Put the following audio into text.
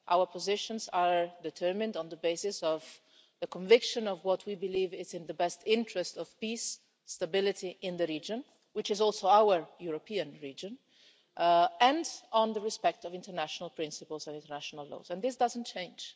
Our positions are determined on the basis of the conviction of what we believe is in the best interest of peace and stability in the region which is also our European region and on respect for international principles and international laws, and this doesn't change.